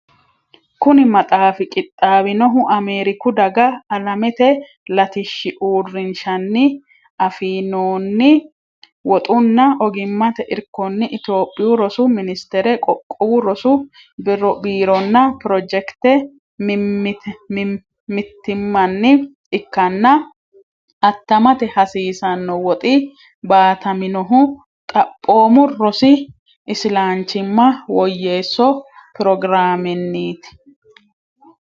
Kuni maxaafi qixxaawinohu Ameeriku Daga Alamete Latishshi Uurrinshanni afi noonni woxunna ogimmate irkonni Itophiyu Rosu Ministere Qoqqowu Rosu Biironna pirojekite mittimmanni ikkanna attamate hasiisanno woxi baataminohu Xaphoomu Rosi Isilanchimma Woyyeesso Pirogiraamenniiti.